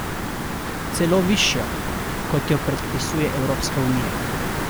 Celo višjo, kot jo predpisuje Evropska unija!